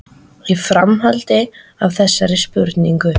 Og í framhaldi af þessari spurningu